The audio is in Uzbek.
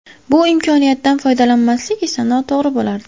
Bu imkoniyatdan foydalanmaslik esa noto‘g‘ri bo‘lardi.